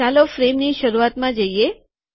ચાલો ફ્રેમની શરૂઆતમાં જઈએ